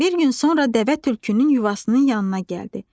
Bir gün sonra dəvə tülkünün yuvasının yanına gəldi.